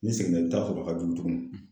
N'i seginen i bɛ t'a sɔrɔ a ka jugu tuguni